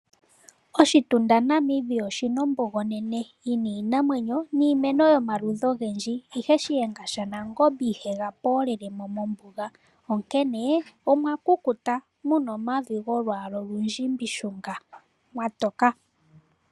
Oshitunda Namibia oshina ombuga onene yina iinamwenyo niimeno yomaludhi ogendji ihe shiyenga shaNangombe ihe ga poolelemo mombuga onkene omwakukuta muna omavi golwaala olundjimbi shunga mawatoka.